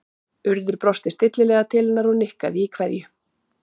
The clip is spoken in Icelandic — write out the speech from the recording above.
Urður brosti stillilega til hennar og nikkaði í kveðju